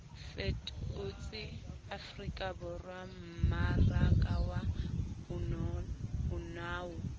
fetotse afrikaborwa mmaraka wa bonao